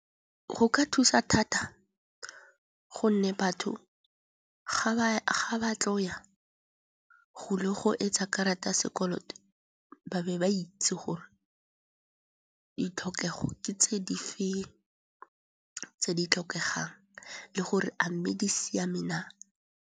Go ka thusa thata gonne batho ga ba tlo ya go ile go etsa karata ya sekoloto, ba be ba itse gore ditlhokego ke tse di fe tse di tlhokegang le gore a mme di siame na.